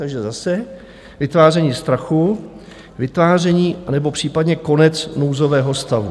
Takže zase vytváření strachu, vytváření anebo případně konec nouzového stavu.